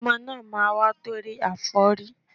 Ọmọ náà máa wá tọrọ àforí